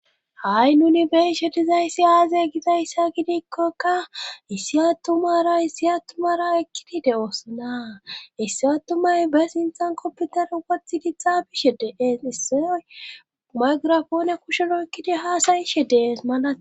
ha7i nuni beishe tizayssi aazay gidayssa gidikkokka issi attumara issi atumara ekkidi de7osana issi attumay bes inxan kopputer wothi gixxa bishe dees issiy maygirafoone kushero ykkidi haasayishe dees malade